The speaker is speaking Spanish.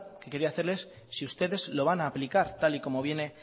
que quería hacerles si ustedes lo van a aplicar tal y como viene